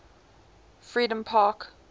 freedompark